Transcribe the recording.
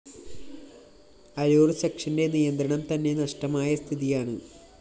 അരൂര്‍ സെക്ഷന്റെ നിയന്ത്രണം തന്നെ നഷ്ടമായ സ്ഥിതിയാണ്